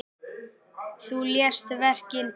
Þú lést verkin tala.